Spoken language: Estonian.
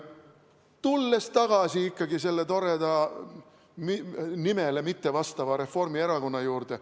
Tulen tagasi ikkagi selle toreda, nimele mittevastava Reformierakonna juurde.